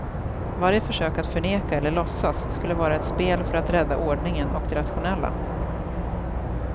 Varje försök att förneka eller låtsas skulle vara ett spel för att rädda ordningen och det rationella.